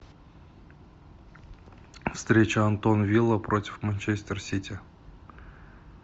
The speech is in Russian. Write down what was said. встреча астон вилла против манчестер сити